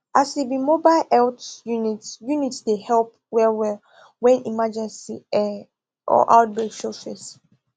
as e be mobile health unit unit dey help wellwell when emergency um or outbreak show face